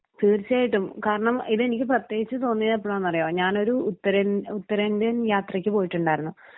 തീർച്ചയായിട്ടും കാരണം ഇത് എനിക്ക് പ്രത്യേകിച്ച് തോന്നിയത് എപ്പോഴാന്ന് അറിയോ ഞാനൊരു ഉത്തരേ ഉത്തരേന്ത്യൻ യാത്രയ്ക്ക് പോയിട്ടുണ്ടായിരുന്നു.